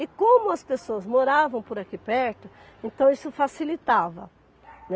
E como as pessoas moravam por aqui perto, então isso facilitava, né.